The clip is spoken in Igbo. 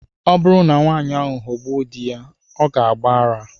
Ọ bụrụ na nwanyị ahụ aghọgbu di ya, ọ ga-agba ara.